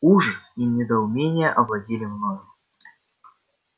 ужас и недоумение овладели мною